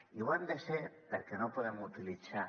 i ho han de ser perquè no podem utilitzar